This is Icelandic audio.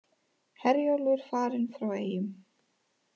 Herjólfur farinn frá Eyjum